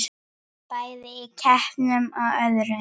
Bæði í keppnum og öðru.